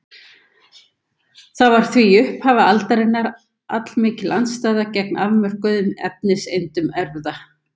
Það var því í upphafi aldarinnar allmikil andstaða gegn afmörkuðum efniseindum erfða.